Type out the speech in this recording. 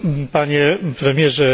Panie Premierze!